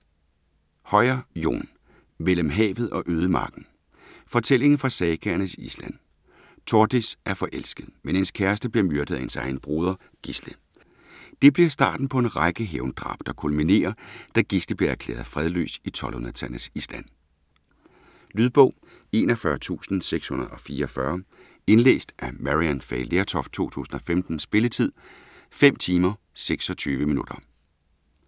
Høyer, Jon: Mellem havet og ødemarken Fortælling fra sagaernes Island. Tordis er forelsket, men hendes kæreste bliver myrdet af hendes egen broder, Gisle. Det bliver starten på en række hævndrab, der kulminerer, da Gisle bliver erklæret fredløs i 1200-tallets Island. Lydbog 41644 Indlæst af Maryann Fay Lertoft, 2015. Spilletid: 5 timer, 26 minutter.